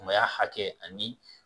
Maya hakɛ ani